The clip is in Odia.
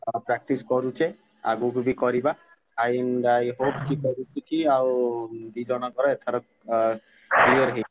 ଅ practice କରୁଚେ ଆଗୁକୁ ବି କରିବା, and I hope କରୁଚି କି ଆଉ ଦି ଜଣଙ୍କର ଏଥର ଅ clear ~ହେଇ।